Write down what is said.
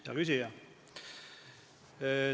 Hea küsija!